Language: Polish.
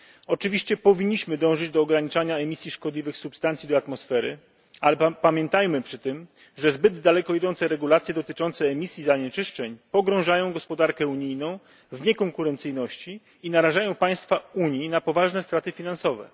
Oczywiście powinniśmy dążyć do ograniczania emisji szkodliwych substancji do atmosfery, ale pamiętajmy przy tym, że zbyt daleko idące regulacje dotyczące emisji zanieczyszczeń pogrążają gospodarkę unijną w niekonkurencyjności i narażają państwa Unii na poważne straty finansowe.